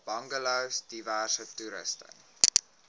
bungalows diverse toerusting